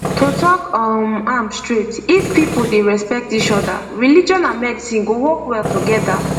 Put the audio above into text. to talk um am straight if people dey respect each other religion and medicine dey work well together